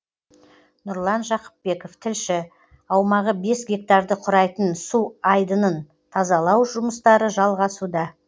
нұрлан жақыпбеков тілші аумағы бес гектарды құрайтын су айдынын тазалау жұмыстары жалғасуда